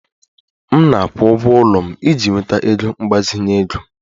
M na-akwụ ụgwọ ụlọ m iji nweta ego mgbazinye ego